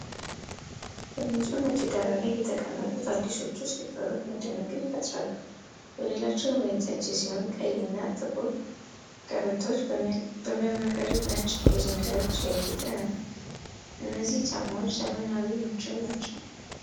በንፁህ ነጭ ዳራ ላይ የተቀመጡት አዲሶቹ ስሊፐሮች መደነቅን ይፈጥራሉ። ወለላቸው ወይንጠጅ ሲሆን፣ ቀይና ጥቁር ቀበቶዎቹ በሚያብረቀርቁ ነጭ ድንጋዮች ያጌጡ ናቸው። እነዚህ ጫማዎች ዘመናዊና ምቹ ናቸው።